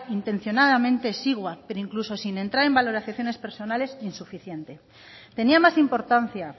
intencionadamente exigua pero incluso sin entrar en valoraciones personales insuficiente tenía más importancia